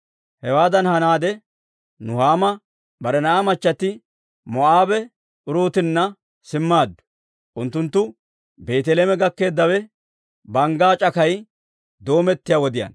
Hewaadan hanaade, Nuhaama bare na'aa machchatti Moo'aabe Uruutinna simmaaddu. Unttunttu Beeteleeme gakkeeddawe banggaa c'akay doomettiyaa wodiyaanna.